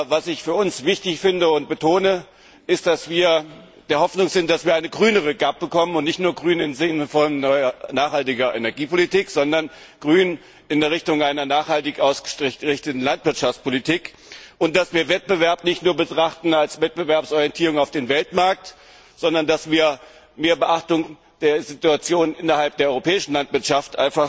Was ich aber für uns wichtig finde und betone ist, dass wir die Hoffnung haben, dass wir eine grünere GAP bekommen grün nicht nur im Sinne einer nachhaltigen Energiepolitik, sondern grün in Richtung einer nachhaltig ausgerichteten Landwirtschaftspolitik dass wir Wettbewerb nicht nur als Wettbewerbsorientierung auf dem Weltmarkt betrachten, sondern dass wir einfach mehr Beachtung der Situation innerhalb der europäischen Landwirtschaft